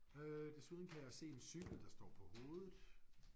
Øh desuden kan jeg se en cykel der står på hovedet